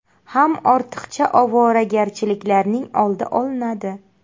Ham ortiqcha ovoragarchiliklarning oldi olinadi”.